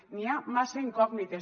n’hi ha massa incògnites